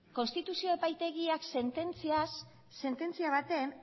konstituzio epaitegiak sententzia batean